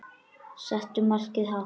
Settu markið hátt.